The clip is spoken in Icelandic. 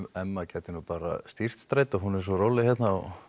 Emma gæti nú bara stýrt strætó hún er svo róleg hérna og